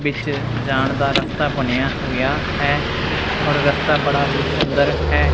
ਵਿੱਚ ਜਾਣ ਦਾ ਰਸਤਾ ਬਣਿਆ ਹੋਇਆ ਹੈ ਔਰ ਰਸਤਾ ਬੜਾ ਹੀ ਸੁੰਦਰ ਹੈ।